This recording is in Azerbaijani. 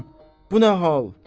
Aman, bu nə hal?